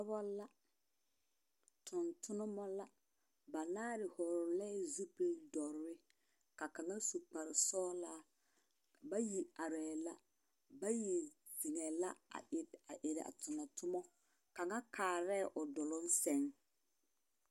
Dɔbɔ la. Tontonema la. Banaare vɔgelɛɛ zupil dɔre, ka kaŋa su kpare sɔgelaa. Bayi arɛɛ la bayi zeŋɛɛ la a erɛ… a erɛ a tomɔ, tomɔ. Kaŋa kaarɛɛ o duloŋ seŋ.